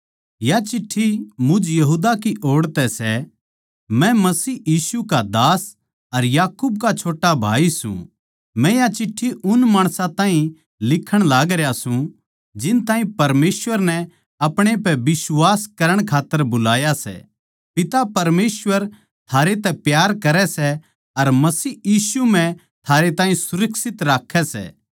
या चिट्ठी मुझ यहूदा की ओड़ तै सै मै मसीह यीशु का दास अर याकूब का छोट्टा भाई सूं मै या चिट्ठी उन माणसां ताहीं लिखूँ लिखण लागरया सूं जिन ताहीं परमेसवर नै अपणे पै बिश्वास करण खात्तर बुलाया सै पिता परमेसवर थारे तै प्यार करै सै अर मसीह यीशु म्ह थारे ताहीं सुरक्षित राक्खै सै